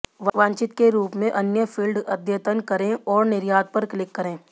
वांछित के रूप में अन्य फ़ील्ड अद्यतन करें और निर्यात पर क्लिक करें